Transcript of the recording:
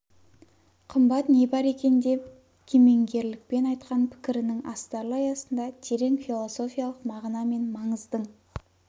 қымбат не бар екен деп кемеңгерлікпен айтқан пікірінің астарлы аясында терең философиялық мағына мен маңыздың